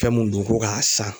Fɛn mun dun ko k'a san